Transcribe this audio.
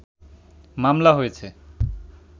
মামলা হয়েছে